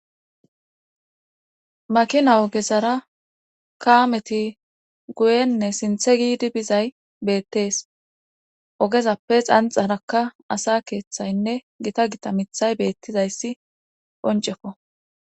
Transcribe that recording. maakina oogezara kaameti guyenne sinthe giidi bizay beettees oogezappe xanxarakka asa keeththaynne gita gita miiththay beettizayssi qoncekko